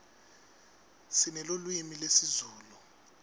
sinelulwimi lezulu